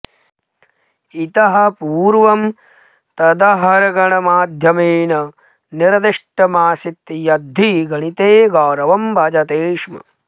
इतः पूर्वं तदहर्गणमाध्यमेन निर्दिष्टमासीद्यद्धि गणिते गौरवं भजते स्म